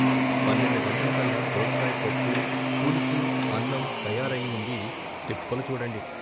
పన్నెండు గంటలకల్లా దోసకాయ పప్పు, పులుసు అన్నం తయారయ్యి ఉండీ తిప్పలూ చూడండి "